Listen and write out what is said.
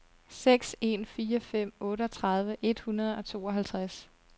seks en fire fem otteogtredive et hundrede og tooghalvtreds